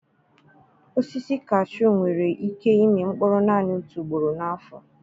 Osisi kashuu nwere ike ịmị mkpụrụ naanị otu ugboro n'afọ.